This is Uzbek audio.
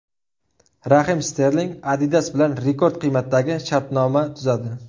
Rahim Sterling Adidas bilan rekord qiymatdagi shartnoma tuzadi.